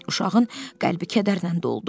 Uşağın qəlbi kədərlə doldu.